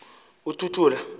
uthuthula